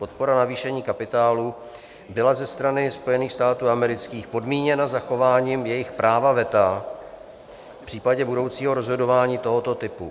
Podpora navýšení kapitálu byla ze strany Spojených států amerických podmíněna zachováním jejich práva veta v případě budoucího rozhodování tohoto typu.